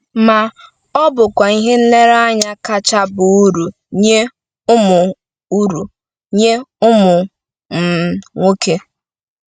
Ma, ọ bụkwa ihe nlereanya kacha baa uru nye ụmụ uru nye ụmụ um nwoke.